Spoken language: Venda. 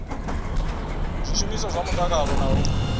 zwishumiswa zwa mutakalo na u